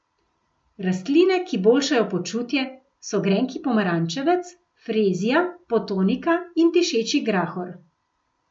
Rastline, ki boljšajo počutje so grenki pomarančevec, frezija, potonika in dišeči grahor.